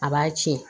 A b'a tiɲɛ